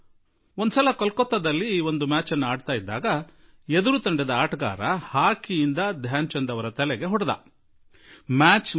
ಒಮ್ಮೆ ಕೋಲ್ಕತ್ತಾದಲ್ಲಿ ಒಂದು ಪಂದ್ಯದ ಸಮಯದಲ್ಲಿ ಏದುರಾಳಿ ತಂಡದ ಆಟಗಾರ ಧ್ಯಾನ್ ಚಂದ್ ಜೀ ಅವರ ತಲೆಗೆ ಹೊಡೆದುಬಿಟ್ಟ